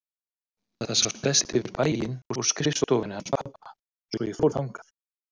Það sást best yfir bæinn úr skrifstofunni hans pabba svo ég fór þangað.